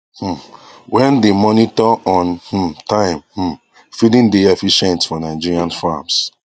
um wen dey monitor on um time um feeding dey efficient for nigerian farms